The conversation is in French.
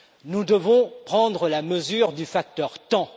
Nous devons prendre la mesure du facteur temps.